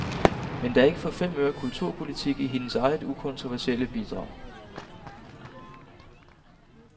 Men der er ikke for fem øre kulturpolitik i hendes eget ukontroversielle bidrag.